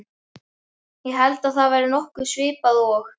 Ég held að það hafi verið nokkuð svipað og